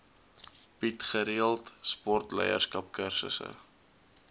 bied gereeld sportleierskapskursusse